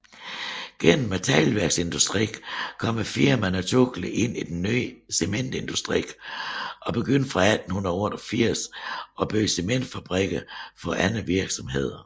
Gennem teglværksindustrien kom firmaet naturligt ind i den nye cementindustri og begyndte fra 1888 at bygge cementfabrikker for andre virksomheder